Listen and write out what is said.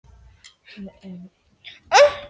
Ólöf, hvaða vikudagur er í dag?